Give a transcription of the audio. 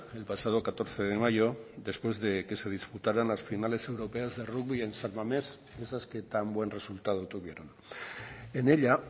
el pasado catorce de mayo después de que se disputaran las finales europeas de rugby en san mamés esas que tan buen resultado tuvieron en ella